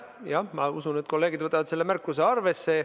Jah, ma usun, et kolleegid võtavad selle märkuse arvesse.